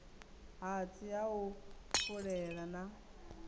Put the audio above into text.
hatsi ha u fulela na